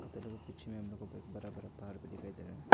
पीछे में हम लोगो को एक बरा बरा पार्क दिखाई दे रहा है।